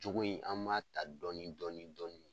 Jogo in an b'a ta dɔɔni dɔɔni dɔɔni.